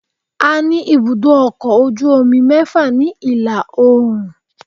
A ní ibùdó ọkọ̀ ojú omi mẹ́fà ni ìlà oòrùn